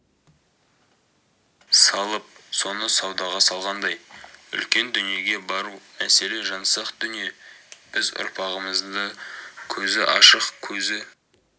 салып соны саудага салгандай үлкен дүниеге бару маселе жансақ дүние біз ұрпағымызды көзі ашық көзі